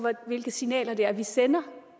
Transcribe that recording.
hvilke signaler vi sender